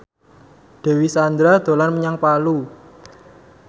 Dewi Sandra dolan menyang Palu